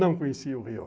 Não conhecia o Rio.